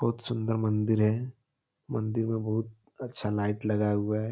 बहुत सुन्दर मंदिर है मंदिर में बहुत अच्छा लाइट लगाया हुआ है।